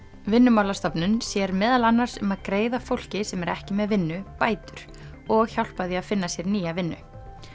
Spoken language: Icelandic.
Vinnumálastofnun sér meðal annars um að greiða fólki sem er ekki með vinnu bætur og hjálpa því að finna sér nýja vinnu